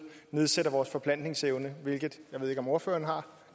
nedsætter vores forplantningsevne jeg ved ikke om ordføreren har